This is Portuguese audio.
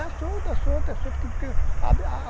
solta, é solta